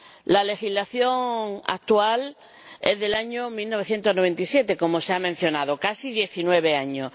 La legislación actual es del año 1997, como se ha mencionado, casi diecinueve años.